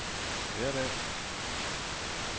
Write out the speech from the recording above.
hverdag